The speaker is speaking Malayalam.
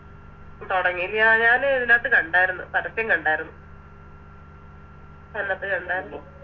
തൊടങ്ങി യ ഞാന് ഇതിനത്ത് കണ്ടാര്ന്ന് പരസ്യം കണ്ടാര്ന്ന് അന്നപ്പം കണ്ടാർന്ന്